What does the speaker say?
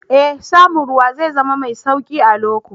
Ee, samun ruwa zai zama mai sauƙi a loko